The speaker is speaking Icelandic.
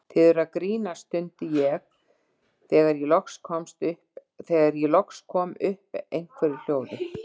Þið eruð að grínast! stundi ég þegar ég kom loks upp einhverju hljóði.